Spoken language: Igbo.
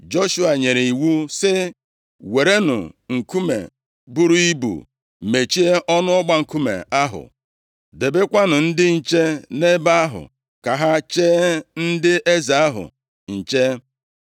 Joshua nyere iwu sị, “Werenụ nkume buru ibu mechie ọnụ ọgba nkume ahụ. Debekwanụ ndị nche nʼebe ahụ, ka ha chee ndị eze ahụ nche.